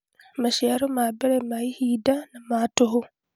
Maciaro ma mbere ma ihinda na ma tũhũ.